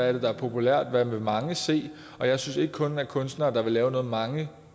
er det der er populært hvad vil mange se og jeg synes ikke kun er kunstnere der vil lave noget mange